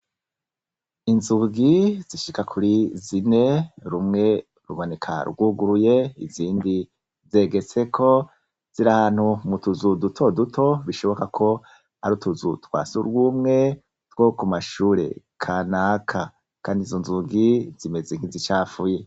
inzugi zishika kuri zine rumwe ruboneka rwuguruye izindi zegetseko ziri ahantu mu tuzu duto duto bishoboka ko ari utuzu twasurwumwe two ku mashure kanaka kandi izo nzugi zimeze nk'izicafuye.